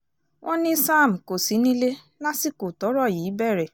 wọ́n ní sam kò sí nílé lásìkò tọ́rọ̀ yìí bẹ̀rẹ̀